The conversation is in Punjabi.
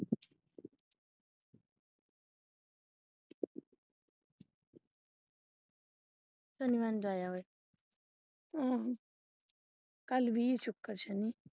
ਅਹ ਕੱਲ ਵੀਰ ਸ਼ੁੱਕਰ ਸ਼ਨੀ ਸ਼ਨੀਵਾਰ ਨੂੰ ਜਾ ਆਵੇ।